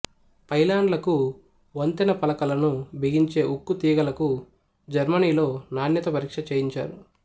పైలాన్లకు వంతెన పలకలను బిగించే ఉక్కు తీగలకు జర్మనీలో నాణ్యత పరీక్ష చేయించారు